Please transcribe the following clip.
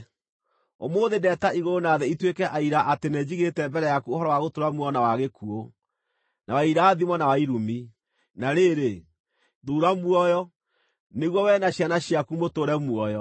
Ũmũthĩ ndeeta igũrũ na thĩ ituĩke aira atĩ nĩnjigĩte mbere yaku ũhoro wa gũtũũra muoyo na wa gĩkuũ, na wa irathimo na wa irumi. Na rĩrĩ, thuura muoyo, nĩguo wee na ciana ciaku mũtũũre muoyo,